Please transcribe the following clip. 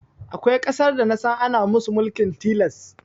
Akwai ƙasar da nasan ana musu mulkin tilas